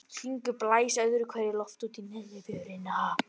Hringur blæs öðru hverju lofti út í neðri vörina.